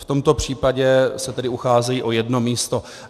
V tomto případě se tedy ucházejí o jedno místo.